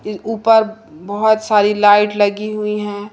ऊपर बहुत सारी लाइट लगी हुई हैं।